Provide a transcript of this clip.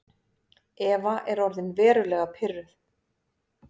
Eva er orðin verulega pirruð.